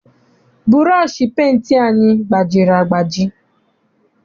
Bụrọshị penti anyị gbajiri agbaji.